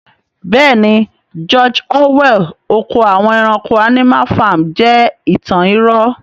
Bẹ́ẹ̀ni, 'George orwell' oko àwọn ẹranko(animal farm) jẹ́ ìtàn irọ́